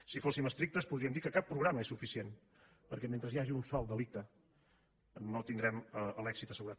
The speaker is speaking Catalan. si fóssim estrictes podríem dir que cap programa és suficient perquè mentre hi hagi un sol delicte no tindrem l’èxit assegurat